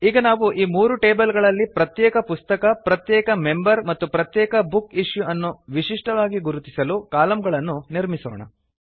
ಈಗ ನಾವು ಈ ಮೂರು ಟೇಬಲ್ ಗಳಲ್ಲಿ ಪ್ರತ್ಯೇಕ ಪುಸ್ತಕ ಪ್ರತ್ಯೇಕ ಮೆಂಬರ್ ಮತ್ತು ಪ್ರತ್ಯೇಕ ಬುಕ್ ಇಶ್ಯೂ ಅನ್ನು ವಿಶಿಷ್ಟವಾಗಿ ಗುರುತಿಸಲು ಕಾಲಂಗಳನ್ನು ನಿರ್ಮಿಸೋಣ